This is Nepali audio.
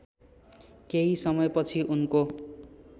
केही समयपछि उनको